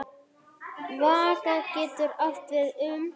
Vaka getur átt við um